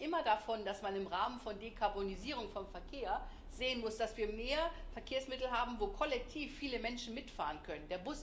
Wir sprechen immer davon, dass man im Rahmen von Dekarbonisierung von Verkehr sehen muss, dass wir mehr Verkehrsmittel haben, wo kollektiv viele Menschen mitfahren können.